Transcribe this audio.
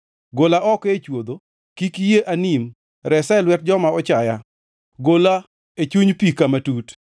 Gola oko e chwodho, kik iyie anim; resa e lwet joma ochaya, gola e chuny pi kama tut.